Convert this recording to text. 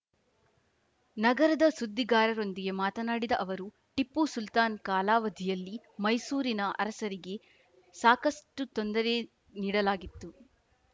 ನಗರದ ಸುದ್ದಿಗಾರರೊಂದಿಗೆ ಮಾತನಾಡಿದ ಅವರು ಟಿಪ್ಪು ಸುಲ್ತಾನ್‌ ಕಾಲಾವಧಿಯಲ್ಲಿ ಮೈಸೂರಿನ ಅರಸರಿಗೆ ಸಾಕಷ್ಟುತೊಂದರೆ ನೀಡಲಾಗಿತ್ತು